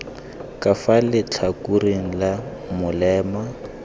ka fa letlhakoreng la molema